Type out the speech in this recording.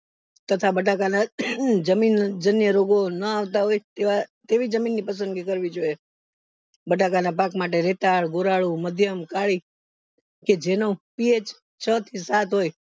તથા બટાકાના અન્ય જમીનને રોગો ન હોય તેવી જમીનની પસંદગી કરવી જોઈએ બટાકા ના પાક માટે રેતાળ ગોરાળુ મધ્યમ કાળી કે જેનો PH છ થી સાત હોય હોય